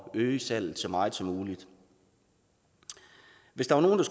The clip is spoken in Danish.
øge salget så meget som muligt hvis der var nogen